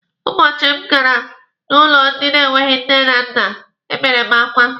Ụbọchị m gara n'ụlọ ndị na-enweghi nne na nna, ebere m akwa.